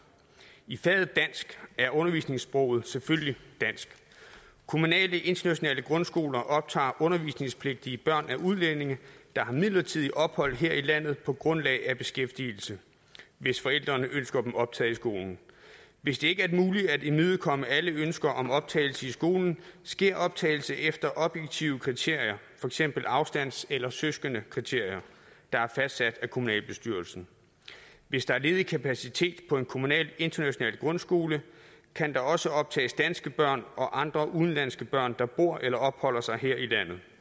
i faget dansk er undervisningssproget selvfølgelig dansk kommunale internationale grundskoler optager undervisningspligtige børn af udlændinge der har midlertidigt ophold her i landet på grundlag af beskæftigelse hvis forældrene ønsker dem optaget i skolen hvis det ikke er muligt at imødekomme alle ønsker om optagelse i skolen sker optagelse efter objektive kriterier for eksempel afstands eller søskendekriterier der er fastsat af kommunalbestyrelsen hvis der er ledig kapacitet på en kommunal international grundskole kan der også optages danske børn og andre udenlandske børn der bor eller opholder sig her i